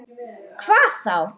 Ísbjörg skal í skóla.